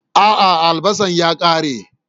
A'a, albasan ya kare.